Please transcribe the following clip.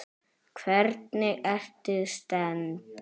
Hvernig ertu stemmd?